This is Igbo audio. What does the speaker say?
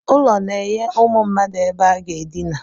Ụlọ na-enye ụmụ mmadụ ebe aga edina